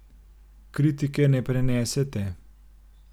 Kritike ne prenesete.